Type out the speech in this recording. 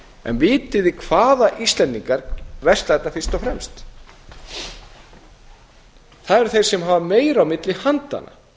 en vitið þið hvaða íslendingar versla þetta fyrst og fremst það eru þeir sem hafa meira á milli handanna